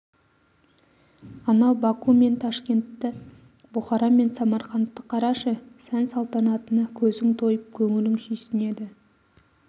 анау баку мен ташкентті бұхара мен самарқандты қарашы сән-салтанатына көзің тойып көңілің сүйсінеді